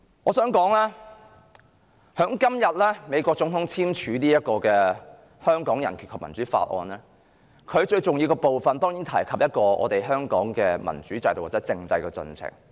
我想說，美國總統今天簽署《香港人權與民主法案》，而該法案當然會提及香港的民主制度的進程。